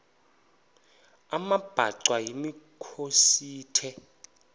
amabhaca yimikhosi the